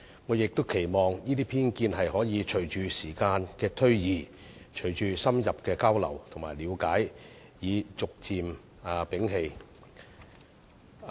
我也期望隨着時間推移、隨着深入交流和了解，這些人可以逐漸摒棄對大灣區的偏見。